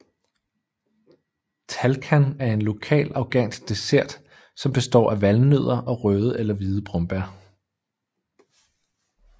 Talkhan er en lokal afghansk dessert som består af valnødder og røde eller hvide brombær